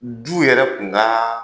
Du yɛrɛ kunka